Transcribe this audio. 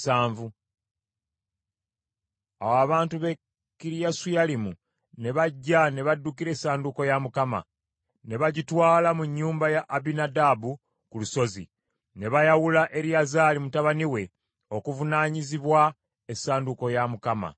Awo abantu b’e Kiriyasuyalimu ne bajja ne baddukira essanduuko ya Mukama , ne bagitwala mu nnyumba ya Abinadaabu ku lusozi. Ne bayawula Eriyazaali mutabani we okuvunaanyizibwa essanduuko ya Mukama .